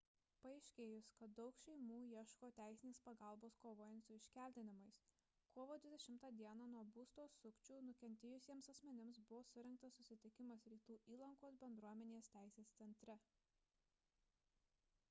paaiškėjus kad daug šeimų ieško teisinės pagalbos kovojant su iškeldinimais kovo 20 d nuo būsto sukčių nukentėjusiems asmenims buvo surengtas susitikimas rytų įlankos bendruomenės teisės centre